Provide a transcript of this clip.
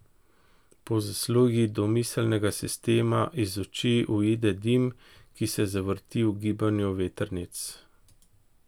Po zaslugi domiselnega sistema iz oči uide dim, ki se zavrti v gibanju vetrnic.